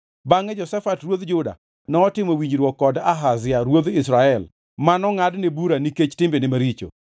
Bangʼe Jehoshafat ruodh Juda notimo winjruok kod Ahazia ruodh Israel manongʼadne bura nikech timbene maricho.